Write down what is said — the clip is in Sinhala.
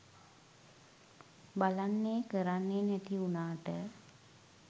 බලන්නෙ කරන්නෙ නැති උනාට